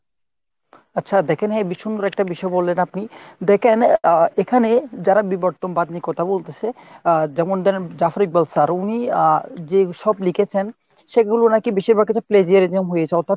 আচ্ছা দেখেন বেশ সুন্দর একটা বিষয় বললেন আপনি , দেখেন আহ এখানে যারা বিবর্তনবাদ নিয়ে কথা বলতেছে আহ যেমন ধরেন Zafar Iqbal sir উনি আহ যেইসব লিখেছেন সেগুলো নাকি বেশিরভাগ ক্ষেত্রে plagiarism হয়েছে অর্থাৎ